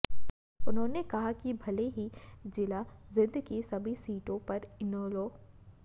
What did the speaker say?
उन्होंने कहा कि भले ही जिला जींद की सभी सीटों पर इनेलो